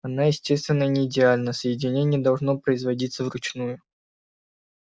она естественно не идеальна соединение не должно производиться вручную